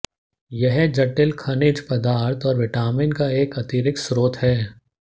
यह जटिल खनिज पदार्थ और विटामिन का एक अतिरिक्त स्रोत है